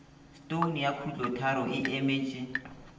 stone ya khutlotharo e emetše